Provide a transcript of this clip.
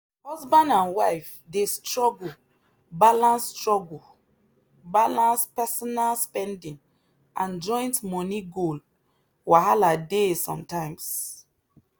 husband and wife dey struggle balance struggle balance personal spending and joint money goal wahala dey sometimes.